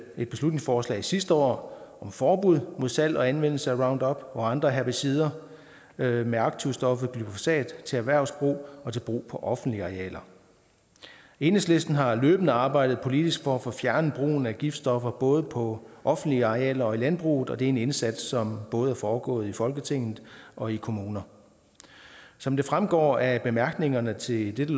et beslutningsforslag sidste år om forbud mod salg og anvendelse af roundup og andre herbicider med med aktivstoffet glyfosat til erhvervsbrug og til brug på offentlige arealer enhedslisten har løbende arbejdet politisk for at få fjernet brugen af giftstoffer både på offentlige arealer og i landbruget og det er en indsats som både er foregået i folketinget og i kommuner som det fremgår af bemærkningerne til det